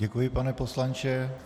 Děkuji, pane poslanče.